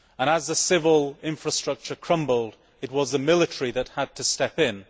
As the civil infrastructure crumbled, it was the military that had to step in.